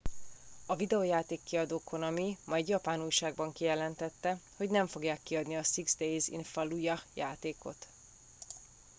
a videojáték kiadó konami ma egy japán újságban kijelentette hogy nem fogják kiadni a six days in fallujah játékot